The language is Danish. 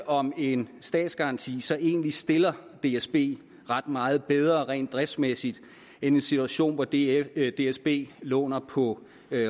om en statsgaranti så egentlig stiller dsb ret meget bedre rent driftsmæssigt end en situation hvor dsb dsb låner på